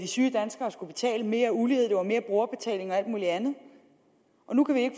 syge danskere skulle betale mere ulighed det var mere brugerbetaling og alt muligt andet og nu kan vi ikke